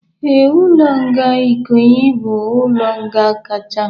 Ee, ụlọ nga Ikoyi bụ ụlọ nga nkacha